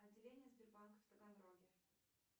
отделение сбербанка в таганроге